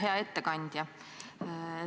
Hea ettekandja!